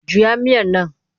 Juya miyar nan!